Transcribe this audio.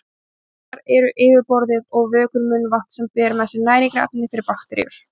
Tennurnar eru yfirborðið og vökvinn munnvatn sem ber með sér næringarefni fyrir bakteríur.